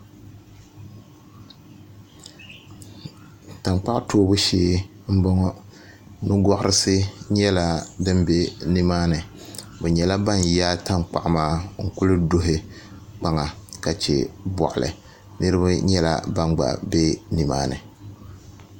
Tankpaɣu toobu shee n boŋo nugoɣarisi nnyɛla din bɛ nimaani bi nyɛla ban yaai tankpaɣu maa n kuli duhi kpaŋa ka chɛ boɣali niraba nyɛla ban gba bɛ nimaani